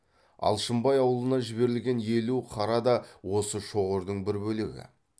алшынбай аулына жіберілген елу қара да осы шоғырдың бір бөлегі